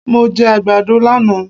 Mo jẹ àgbàdo lánàá.